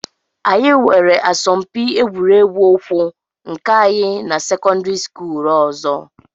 Anyị nwere asọmpi egwuregwu ụkwụ nke anyị na sekọndịrị skuulu ọzọ